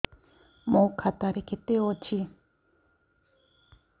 ମୋ ଖାତା ରେ କେତେ ଅଛି